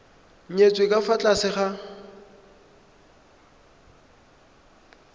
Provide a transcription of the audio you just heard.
nyetswe ka fa tlase ga